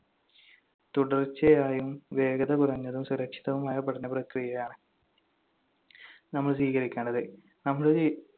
തുടർച്ചയായും വേഗത കുറഞ്ഞതും സുരക്ഷിതവുമായ പഠന പ്രക്രിയയാണ് നമ്മൾ സ്വീകരിക്കേണ്ടത്. നമ്മുടെ